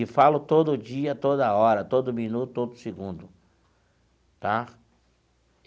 E falo todo dia, toda hora, todo minuto, todo segundo tá.